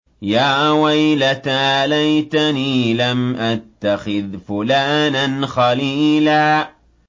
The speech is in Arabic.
يَا وَيْلَتَىٰ لَيْتَنِي لَمْ أَتَّخِذْ فُلَانًا خَلِيلًا